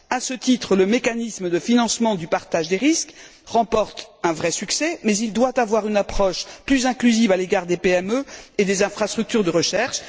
À ce titre, le mécanisme de financement du partage des risques remporte un vrai succès, mais il doit avoir une approche plus inclusive à l'égard des PME et des infrastructures de recherche.